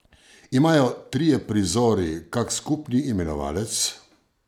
Imajo trije prizori kak skupni imenovalec?